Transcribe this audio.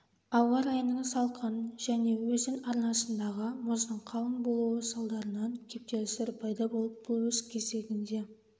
ауа-райының салқын және өзен арнасындағы мұздың қалың болуы салдарынан кептелістер пайда болып бұл өз кезегінде